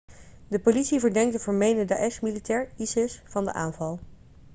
de politie verdenkt een vermeende daesh-militair isis van de aanval